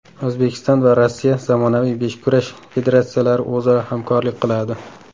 O‘zbekiston va Rossiya zamonaviy beshkurash federatsiyalari o‘zaro hamkorlik qiladi.